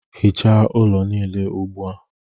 Hichaa ụlọ niile ugbu a